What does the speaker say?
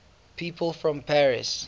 people from paris